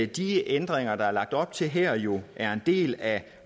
de ændringer der er lagt op til her jo er en del af